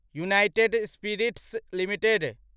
United Spirits limited